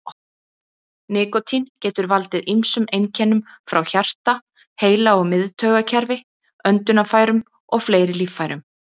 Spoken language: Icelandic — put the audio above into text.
Nikótín getur valdið ýmsum einkennum frá hjarta, heila- og miðtaugakerfi, öndunarfærum og fleiri líffærum.